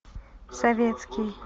советский